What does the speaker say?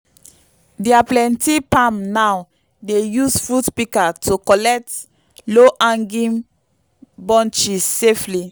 dia plenty palm now dey use fruit pika to collect low hanging bunches safely